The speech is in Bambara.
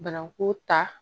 Bananku ta